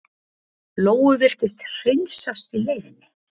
Lóu virtist hreinsast í leiðinni.